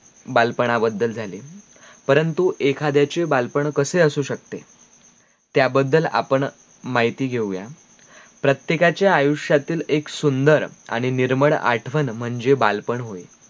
बालपणा बद्दल झाले परंतु एखादयचे बालपण कशे असू सकते त्या बद्दल मायती घेऊया प्रत्येकाच्या आयुष्यातील एक सुंदर आणी निर्मळ आठवण माझे बालपण होय